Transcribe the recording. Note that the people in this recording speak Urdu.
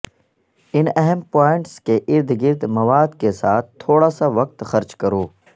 ان اہم پوائنٹس کے ارد گرد مواد کے ساتھ تھوڑا سا وقت خرچ کرو